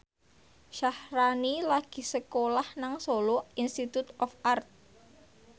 Syaharani lagi sekolah nang Solo Institute of Art